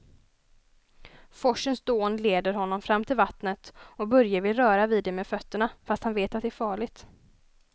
Forsens dån leder honom fram till vattnet och Börje vill röra vid det med fötterna, fast han vet att det är farligt.